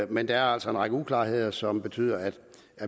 men der er altså en række uklarheder som betyder at